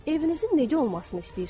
Evinizin necə olmasını istəyirsiz?